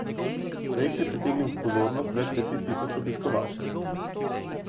Projekt je pritegnil pozornost več deset tisoč obiskovalcev.